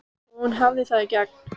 Og hún hafði það í gegn.